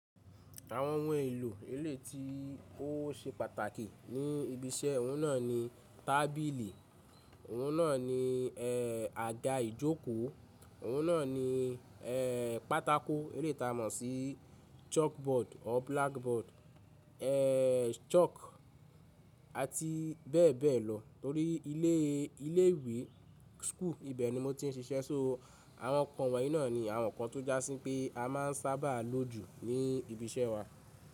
Àwọn ohun èlò éleyi tí ó ṣe pàtàkì ní ibi iṣẹ́ ọ̀hún náà ni tábìlì, ọ̀hún náà ni e, àga ìjókòó, ọ̀hún náà ni e, pátákó eléyi ta mọ̀ sí chalkboard or blackboard, e, chalk àti bẹ́ẹ̀ bẹ́ẹ̀ lọ torí ilé ilé ìwé school ibẹ̀ ni mo tiń ṣiṣẹ́. So àwọn ǹkan wọ̀nyí náà ni àwọn nkan tó jásí pé amáa ń sábà lò jù ní ibi iṣẹ́ wa.